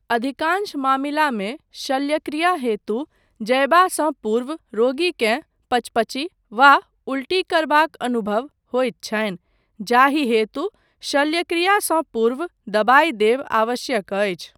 अधिकांश मामिलामे शल्यक्रिया हेतु जयबासँ पूर्व रोगीकेँ पचपची वा उल्टी करबाक अनुभव होइत छनि जाहि हेतु शल्यक्रियासँ पूर्व दवाइ देब आवश्यक अछि।